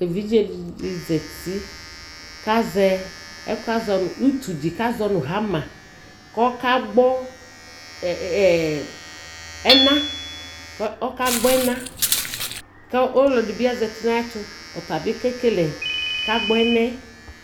ɛvidzɛ di zati kʋ azɛ ɛkʋɛ azɔnʋ ʋtʋ di kʋ azɔnʋ hammer kʋ ɔka gbɔ ɛna, kʋ ɔka gbɔ ɛna kʋ ɔlɔdibi zati nʋ ayɛtʋ ɔtabi ka gbɔ ɛnaɛ